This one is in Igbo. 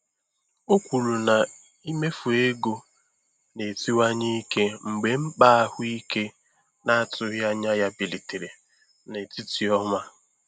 O kwuru na mmefu ego na-esiwanye ike mgbe mkpa ahụike na-atụghị anya ya bilitere n'etiti ọnwa.